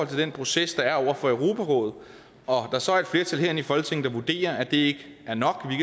den proces der er over for europarådet og der så er et flertal herinde i folketinget der vurderer at det ikke er nok